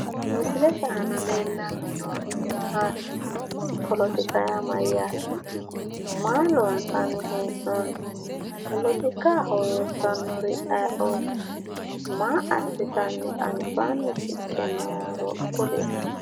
Misilete aana leellanni noorichi maati? Polotika yaa mayyaate? Maa loonsanni hee'noonni? Polotikaho loossannori ayiooti? Maa assitanni albaanni shiqqe nooro kulie.